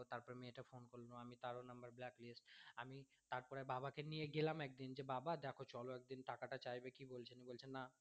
তারপরে বাবা কে নিয়ে গেলাম একদিন যে বাবা দেখো চলো একদিন টাকা টা চাইবে কী বলছে নিয়ে বলছে না